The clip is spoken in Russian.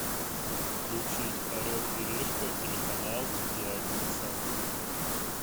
включить орел и решка телеканал пятница